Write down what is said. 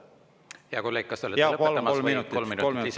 Hea kolleeg, kas te olete lõpetamas või kolm minutit lisaks?